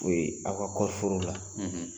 U ye aw ka kɔɔrɔforo la